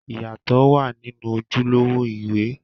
Ìyàtọ̀ wà nínú ojúlówó ìwé.